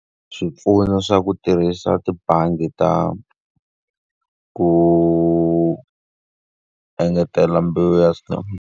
Swipfuno swa ku tirhisa tibangi ta ku engetela mbewu ya .